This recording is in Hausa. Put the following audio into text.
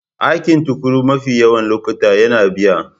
Aikin tukuru mafi yawan lokuta yana biya.